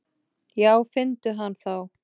Já finndu hann þá!